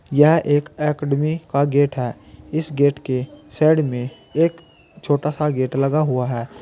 यह एक अकेडमी का गेट है इस गेट के साइड में एक छोटा सा गेट लगा हुआ है।